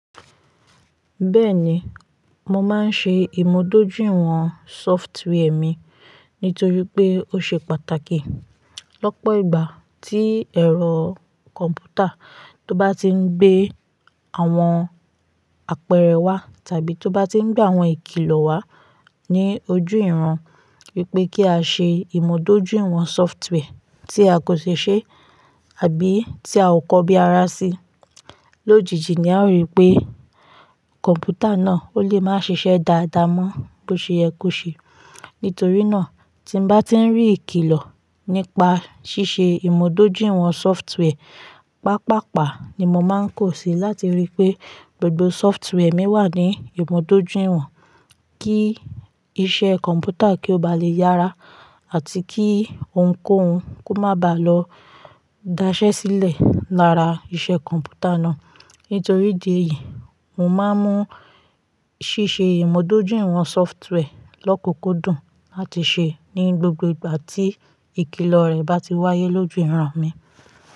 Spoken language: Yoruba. Bẹ́ẹ̀ni, mo máa ń ṣe ìmúdójúìwọ̀n sọftwẹẹrì mi, nítorí pé ó ṣe pàtàkì. Lọ́pọ̀ ìgbà tí ẹ̀rọ kọ̀m̀pútà tó bá tí ń gbé àwọn àpẹẹrẹ wá tàbí tó bá tí ń gbé àwọn ìkìlọ̀ wá ní ojú ìran wípé kí á ṣe ìmúdójúìwọ̀n sọftwẹẹrì tí a kò ṣe ṣe àbí tí a ọ kò bí ará sí. Lójijì ni a rí pé kọ̀m̀pútà náà ó lè máa ṣiṣẹ́ dáadáa mọ́ bó ṣe yẹ kó ṣe. Nítorí náà, tí n bá tí ń rí ìkìlọ̀ nípa ṣíṣe ìmúdójúìwọ̀n sọftwẹẹrì, pàpàpá ni mo máa ń kó sí láti rí pé gbogbo sọftwẹẹrì mi wà ní ìmúdójúìwọ̀n kí iṣẹ́ kọ̀m̀pútà kí ó ba lè yára àti kí ohunkóhun kó máà bàá lọ da sẹ́ sílẹ̀ lára iṣẹ́ kọ̀m̀pútà náà. Nítorí idí èyí, mo máa ń mú ṣíṣe ìmúdójúìwọ̀n sọftwẹẹrì lọ́kùúkú dùn láti ṣe ní gbogbo ìgbà tí ìkìlọ̀ rẹ̀ bá ti wáyé lójú ìran mi.